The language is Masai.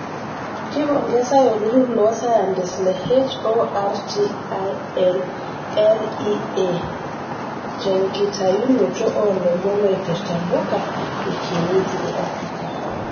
Keipongesai olturur loo sayantist le HORTINLEA tenkitayunoto olomon oipirta mpuka ekinyeji e Afirika.